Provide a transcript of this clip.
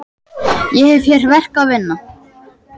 Ég hef hér verk að vinna.